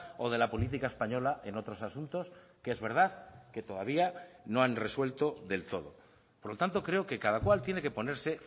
o de la política española en otros asuntos que es verdad que todavía no han resuelto del todo por lo tanto creo que cada cual tiene que ponerse